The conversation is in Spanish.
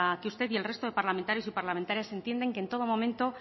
que usted y el resto de parlamentarios y parlamentarias entiendan que en todo momento